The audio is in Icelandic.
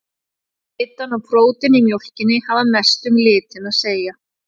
Fita og prótín í mjólkinni hafa mest um litinn að segja.